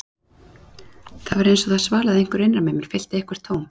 Það var eins og það svalaði einhverju innra með mér, fyllti eitthvert tóm.